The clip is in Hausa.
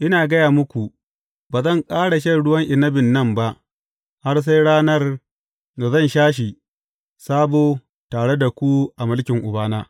Ina gaya muku, ba zan ƙara shan ruwan inabin nan ba har sai ranar da zan sha shi sabo tare da ku a mulkin Ubana.